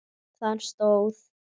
Þar stóð